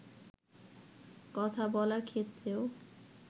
কথা বলার ক্ষেত্রেও